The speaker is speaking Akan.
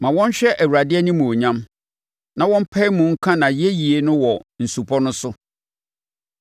Ma wɔnhyɛ Awurade animuonyam; na wɔmpae mu nka nʼayɛyie no wɔ nsupɔ no so.